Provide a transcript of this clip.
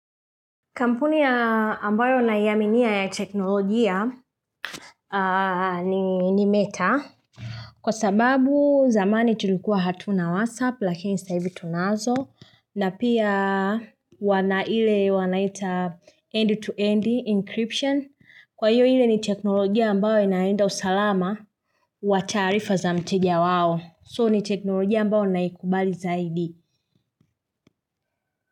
Kampuni ya ambayo naiaminia ya teknolojia ni meta. Kwa sababu zamani tulikuwa hatuna WhatsApp lakini sasa hivi tunazo na pia wanaile wanaita end-to-end encryption. Kwa hiyo hile ni teknolojia ambayo inaenda usalama wa tarifa za mtegia wao. So ni teknolojia ambayo naikubali zaidi.